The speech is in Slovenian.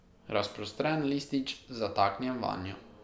Razprostrem listič, zataknjen vanjo.